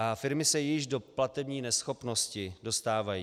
A firmy se již do platební neschopnosti dostávají.